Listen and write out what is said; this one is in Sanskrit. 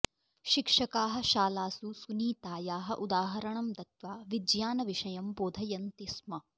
शिक्षकाः शालासु सुनीतायाः उदाहरणं दत्त्वा विज्ञानविषयं बोधयन्ति स्म